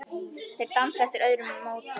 Þeir dansa eftir öðrum nótum.